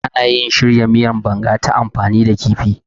Ana iya shirya miyan Banga ta amfani da kifi.